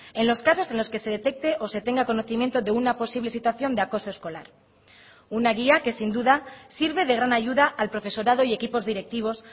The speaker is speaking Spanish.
en los casos en los que se detecte o se tenga conocimiento de una posible situación de acoso escolar una guía que sin duda sirve de gran ayuda al profesorado y equipos directivos